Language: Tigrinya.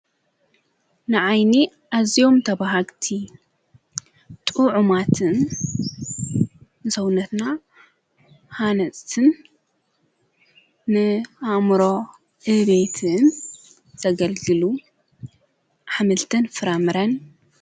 ንኣይኒ ኣዚዮም ተብሃግቲ ጥዑማትን ሰውነትና ሓነስትን ንኣምሮ እቤትን ዘገልግሉ ኃምልትን ፍራምረን።